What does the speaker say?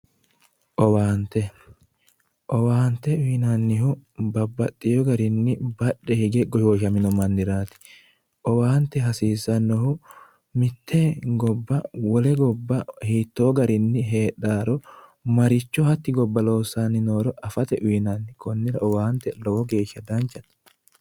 owaante owante uyinannihu babbaxeewo garinni badhe hige goshshooshamino manniraati owaante hasiissannohu mitte gobba wole gobba ledo hiittonni heedhaworo maricho hatti gobba loossanni nooro afate uyinanni konnira owante lowo geeshsha danchate